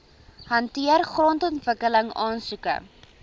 hanteer grondontwikkeling aansoeke